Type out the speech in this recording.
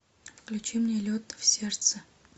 включи мне лед в сердце